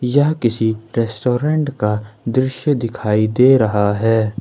यह किसी रेस्टोरेंट का दृश्य दिखाई दे रहा है।